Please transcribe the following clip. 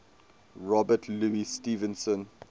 robert louis stevenson